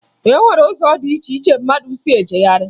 E nwere ụzọ dị iche iche mmadụ si ejegharị